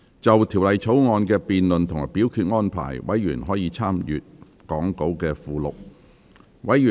就修正案詳情，委員可參閱講稿附錄。